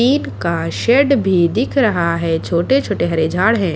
का शेड भी दिख रहा हैं छोटे-छोटे हरे झाड हैं।